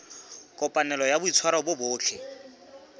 kopanelo ya boitshwaro bo botle